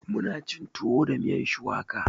Muna cin tuwo da miyan shuwaka